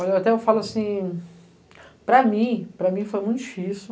Olha, até eu falo assim, para mim, para mim foi muito difícil.